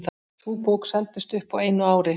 Sú bók seldist upp á einu ári.